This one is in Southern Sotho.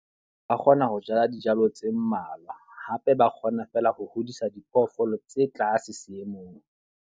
Ba kgona ho jala dijalo tse mmalwa. Hape ba kgona fela ho hodisa diphoofolo tse tlase seemong.